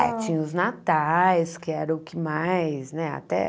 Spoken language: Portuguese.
Ah, tinha os natais, que era o que mais, né? Até